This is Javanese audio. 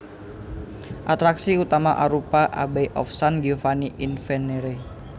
Atraksi utama arupa Abbey of San Giovanni in Venere